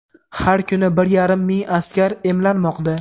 Har kuni bir yarim ming askar emlanmoqda.